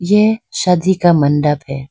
यह शादी का मंडप है।